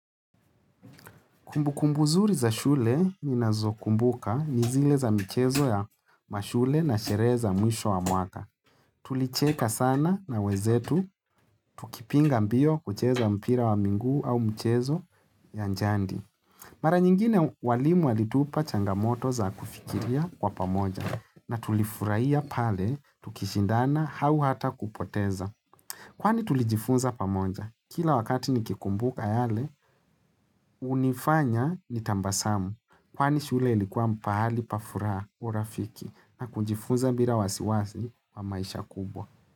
Kumbu kumbu nzuri za shule ninazokumbuka ni zile za mchezo ya mashule na sherehe za mwisho wa mwaka. Tulicheka sana na wenzetu, tukipinga mbio kucheza mpira wa miguu au mchezo ya jadi. Mara nyingine walimu walitupa changamoto za kufikiria kwa pamoja na tulifurahia pale tukishindana au hata kupoteza. Kwani tulijifunza pamoja? Kila wakati nikikumbuka yale, unifanya nitabasamu. Kwani shule ilikuwa pahali pa furaha urafiki na kunjifunza bila wasiwasi kwa maisha kubwa.